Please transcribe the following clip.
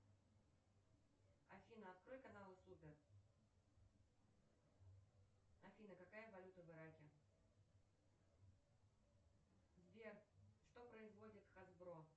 афина открой каналы супер афина какая валюта в ираке сбер что производит хасбро